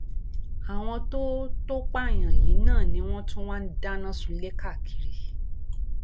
àwọn tó tó pààyàn yìí náà ni wọn tún wá ń dáná sunlé káàkiri